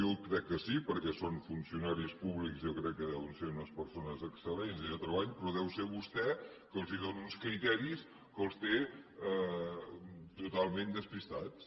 jo crec que sí perquè són funcionaris públics i jo crec que deuen ser unes persones excellents i de treball però deu ser vostè que els dóna uns criteris que els té totalment despistats